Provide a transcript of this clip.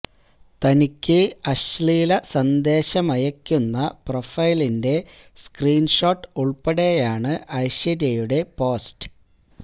തനിക്ക് അശ്ലീല സന്ദേശമയക്കുന്ന പ്രൊഫൈലിന്റെ സ്ക്രീന് ഷോട്ട് ഉള്പ്പെടെയാണ് ഐശ്വര്യയുടെ പോസ്റ്റ്